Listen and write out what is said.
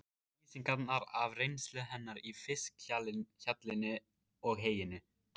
Lýsingarnar af reynslu hennar í fiskhjallinum og heyinu?